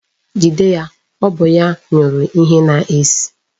Jide ya, ọ bụ ya nyụrụ ihe na-esi!